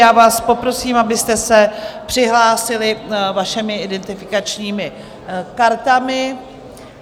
Já vás poprosím, abyste se přihlásili vašimi identifikačními kartami.